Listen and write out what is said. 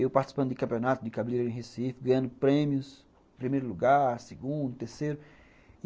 Eu participando de campeonatos de cabreira em Recife, ganhando prêmios em primeiro lugar, segundo, terceiro.